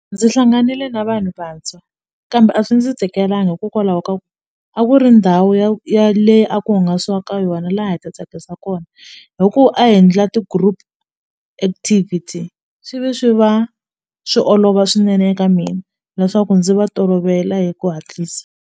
Ndzi hlanganile na vanhu vantshwa kambe a swi ndzi tikelanga hikokwalaho ka ku a ku ri ndhawu ya le a ku hungasiwa ka yona la hi ti tsakisa kona hi ku ndla ti-group activity swi ve swi va swi olova swinene eka mina leswaku ndzi va tolovela hi ku hatlisa.